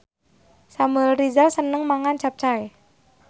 Samuel Rizal seneng mangan capcay